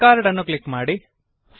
discard ಅನ್ನು click ಮಾಡಿ